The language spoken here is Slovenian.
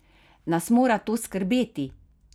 Nas mora to skrbeti?